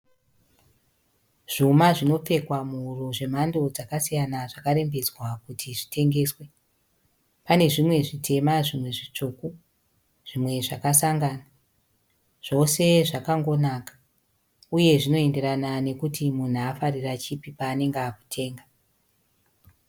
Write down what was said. Zvuma zvinopfekwa muhuro zvemhando dzakasiyana zvakarembedzwa kuti zvitengeswe. Pane zvimwe zvitema, zvimwe zvitsvuku, zvimwe zvakasangana. Zvose zvakangonaka uye zvinoenderana nekuti munhu afarira chipi paanenge akutenga.